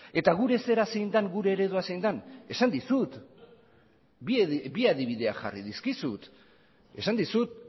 eta gure zera zein den gure eredua zein den esan dizut bi adibideak jarri dizkizut esan dizut